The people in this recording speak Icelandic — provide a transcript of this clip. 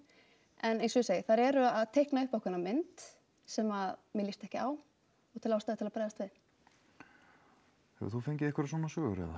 en eins og ég segi þær eru að teikna upp ákveðna mynd sem mér lýst ekki á og tel ástæðu til að bregðast við hefur þú fengið einhverjar svona sögur